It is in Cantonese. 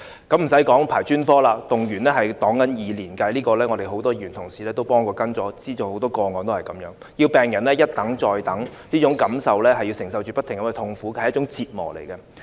更不用說輪候專科了，動輒數以年計，很多議員同事均曾幫忙跟進，知道很多個案情況也是這樣，要病人一等再等，不斷承受這種痛苦，是一種折磨。